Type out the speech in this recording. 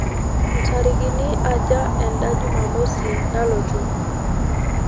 ntarikini aaja eda jumamosi nalotu